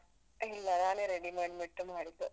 ಇಲ್ಲ ನಾನೇ ready ಮಾಡ್ಬಿಟ್ಟು ಮಾಡಿದ್ದು.